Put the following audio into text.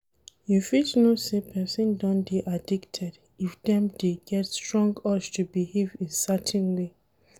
You fit know sey person don dey addicted if dem dey get strong urge to behave in certain way